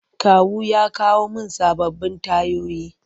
Kawu ya kawo mun sababbin tayoyi.